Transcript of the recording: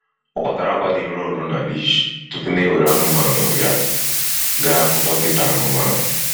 Ọ kwatara akwa dị nro nro na leash tupu na ewere anụmanụ ya gaa hụ dọkịta anụmanụ.